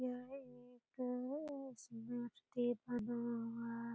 यह एक अ बना हुआ है।